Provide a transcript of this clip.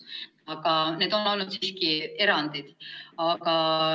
Aga need on olnud siiski erandid.